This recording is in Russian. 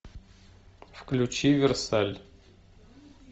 включи версаль